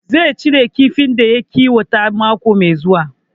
Zai cire kifin da ya kiwata mako mai zuwa